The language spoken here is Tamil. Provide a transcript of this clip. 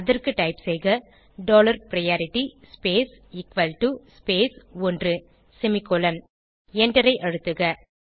அதற்கு டைப் செய்க dollar priority space equal to space ஒன்று செமிகோலன் எண்டரை அழுத்துக